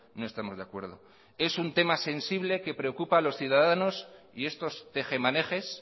no estamos de acuerdo es un tema sensible que preocupa a los ciudadanos y estos tejemanejes